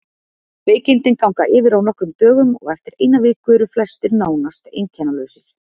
Veikindin ganga yfir á nokkrum dögum og eftir eina viku eru flestir nánast einkennalausir.